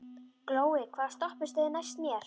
Glói, hvaða stoppistöð er næst mér?